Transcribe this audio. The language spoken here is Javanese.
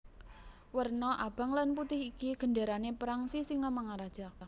Werna abang lan putih iki gendérané perang Sisingamangaraja